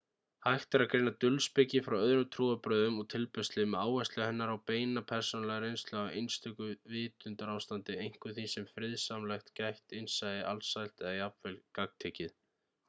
hægt er að greina dulspeki frá öðrum trúarbrögðum og tilbeiðslu með áherslu hennar á beina persónulega reynslu af einstöku vitundarástandi einkum því sem er friðsamlegt gætt innsæi alsælt eða jafnvel gagntekið